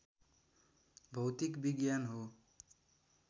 भौतिक विज्ञान हो